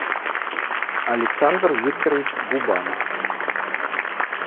александр викторович губанов